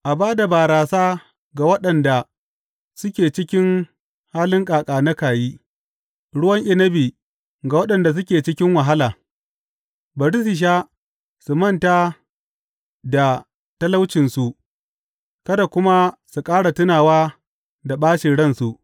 A ba da barasa ga waɗanda suke cikin halin ƙaƙa naka yi, ruwan inabi ga waɗanda suke cikin wahala; bari su sha su manta da talaucinsu kada kuma su ƙara tunawa da ɓacin ransu.